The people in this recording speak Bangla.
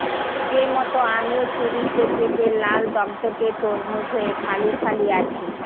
যেমত আমিও ছুরিতে কেটে লাল দগদগে তরমুজ হয়ে ফালি ফালি আছি